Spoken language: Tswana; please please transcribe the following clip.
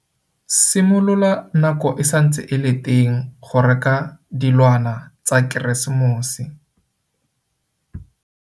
Simolola nako e santse e le teng go reka dilwana tsa Keresemose.